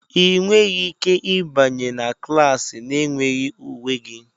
Ị nweghị ike ịbanye na klas na-enweghị uwe gị!